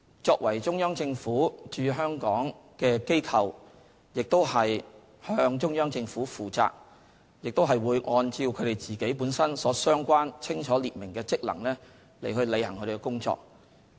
中聯辦是中央政府駐香港的機構，向中央政府負責，亦會按照其清楚列明的職能，履行工作。